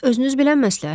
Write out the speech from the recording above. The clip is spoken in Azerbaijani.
Özünüz bilən məsləhətdir.